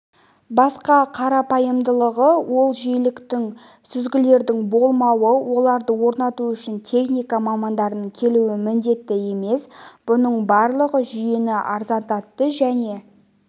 басқа қарапайымдылығы ол жиіліктік сүзгілердің болмауы оларды орнату үшін техника мамандарының келуі міндетті емес бұның барлығы жүйені арзандандатты және